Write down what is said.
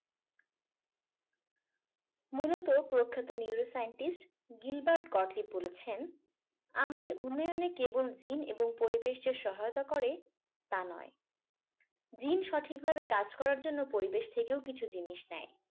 মূলত প্রখ্যাত neuroscientist gilbert gottlieb বলেছেন আমাদের উন্নয়নে কেবল gin এবং পরিবেশ যে সহায়তা করে তা নয় gin সঠিকভাবে কাজ করার জন্য পরিবেশ থেকেও কিছু জিনিস নেয়